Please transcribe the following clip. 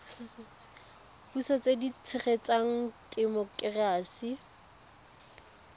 puso tse di tshegetsang temokerasi